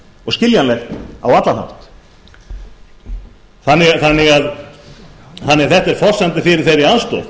og skiljanlegt á allan hátt þetta er forsenda fyrir þeirri aðstoð